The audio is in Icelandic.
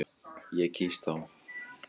Ég kýs þá.